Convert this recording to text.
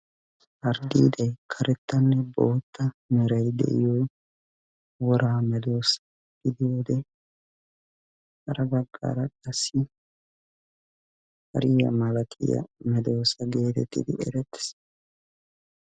Harddiidayi karettanne bootta merayi de"iyo woraa medoossa gidiyode hara baggaara qassi hariya malatiya medoossa geetettidi erettes.